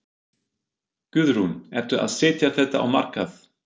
Guðrún: Ertu að setja þetta á markað?